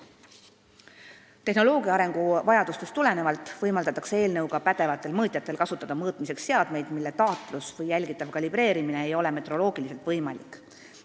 Vastavalt tehnoloogia arengule on eelnõu eesmärk võimaldada pädevatel mõõtjatel kasutada mõõtmiseks seadmeid, mille taatlus või jälgitav kalibreerimine ei ole metroloogiliselt võimalik.